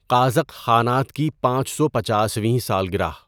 قازق خانات کی پانچ سو پچاسویں سالگرہ